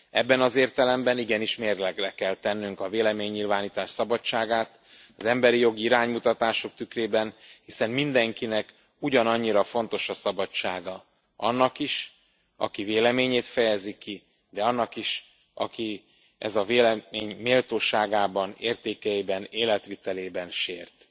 Ebben az értelemben igenis mérlegre kell tennünk a véleménynyilvánítás szabadságát az emberi jogi iránymutatások tükrében, hiszen mindenkinek ugyanannyira fontos a szabadsága annak is, aki véleményét fejezi ki, de annak is, akit ez a vélemény méltóságában, értékeiben, életvitelében sért.